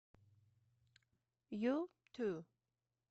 юту